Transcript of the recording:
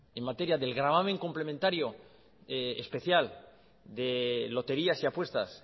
en materia del gravamen complementario especial de loterías y apuestas